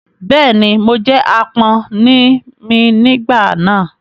Bẹ́ẹ̀ ni, mo jẹ́ àpọ́n ni mí nígbà náà.